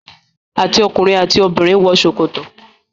àti ọkùnrin àti obìnrin wọ sokoto.